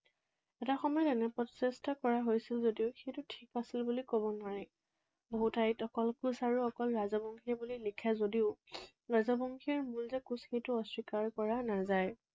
এটা সময়ত এনে প্ৰচেষ্টা কৰা হৈছিল যদিও সেইটো ঠিক আছিল বুলি কব নোৱাৰি। বহু ঠাইত অকল কোচ আৰু অকল ৰাজবংশী বুলি লিখে যদিও ৰাজবংশীৰ মূল যে কোচ, সেইটো অস্বীকাৰ কৰা নাযায়।